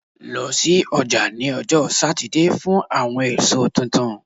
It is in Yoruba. Lọ si ọja ni ọjọ Satidee fun awọn eso tuntun